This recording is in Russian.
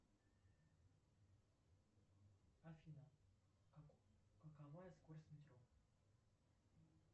афина какова скорость метро